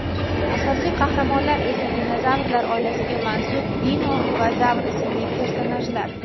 Asosiy qahramonlar esa dinozavrlar oilasiga mansub Dino va Zavr ismli personajlar.